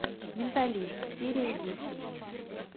менталист серия десять